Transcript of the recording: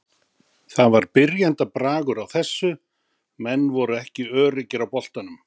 Það var byrjendabragur á þessu, menn voru ekki öruggir á boltanum.